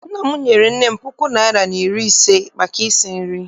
Nna m nyere nne m puku naịra na iri ise maka isi nri.